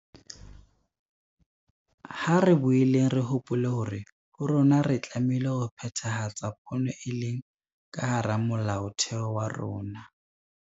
Ha re boeleng re hopole hore ho rona re tlameile ho phethahatsa pono e leng ka hara Molaotheo wa rona.